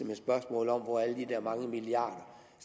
med spørgsmålet om hvor alle de der mange milliarder